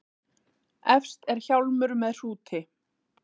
Efst er hjálmur með hrúti.